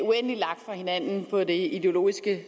uendelig langt fra hinanden i det ideologiske